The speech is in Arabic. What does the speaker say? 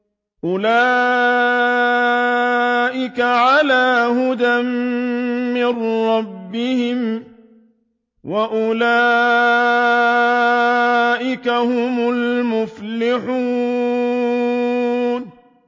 أُولَٰئِكَ عَلَىٰ هُدًى مِّن رَّبِّهِمْ ۖ وَأُولَٰئِكَ هُمُ الْمُفْلِحُونَ